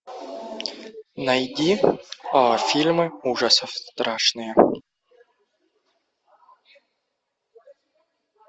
найди фильмы ужасов страшные